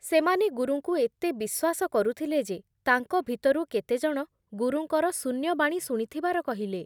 ସେମାନେ ଗୁରୁଙ୍କୁ ଏତେ ବିଶ୍ବାସ କରୁଥିଲେ ଯେ ତାଙ୍କ ଭିତରୁ କେତେଜଣ ଗୁରୁଙ୍କର ଶୂନ୍ୟବାଣୀ ଶୁଣିଥିବାର କହିଲେ ।